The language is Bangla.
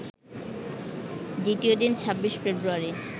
দ্বিতীয় দিন ২৬ ফেব্রুয়ারি